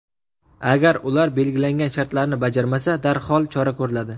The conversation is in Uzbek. Agar ular belgilangan shartlarni bajarmasa, darhol chora ko‘riladi.